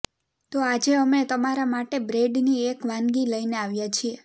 તો આજે અમે તમારા માટે બ્રેડની એક વાનગી લઇને આવ્યા છીએ